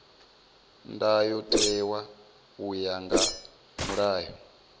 ndayotewa u ya nga mulayo